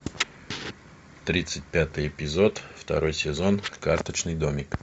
тридцать пятый эпизод второй сезон карточный домик